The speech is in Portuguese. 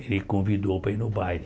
ele convidou para ir no baile.